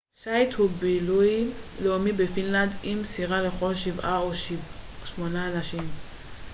שייט הוא בילוי לאומי בפינלנד עם סירה לכל שבעה או שמונה אנשים